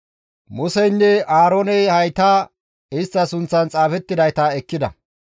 Museynne Aarooney hayta bantta sunththan xaafettidayta ekkida.